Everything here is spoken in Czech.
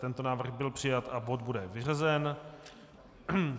Tento návrh byl přijat a bod bude vyřazen.